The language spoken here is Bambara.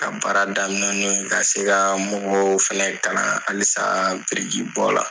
Ka baara daminɛ n'o ye ka se ka mɔgɔw fana kalan halisa birikibɔ la